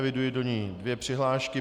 Eviduji do ní dvě přihlášky.